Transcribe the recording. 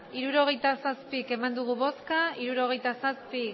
hirurogeita zazpi eman dugu bozka hirurogeita zazpi